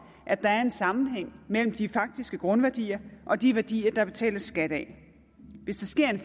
at der er en sammenhæng mellem de faktiske grundværdier og de værdier der betales skat af hvis der sker en